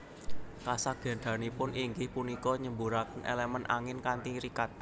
Kasagedanipun inggih punika nyemburaken elemen angin kanthi rikat